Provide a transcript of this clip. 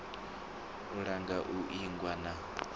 u langa u ingwa na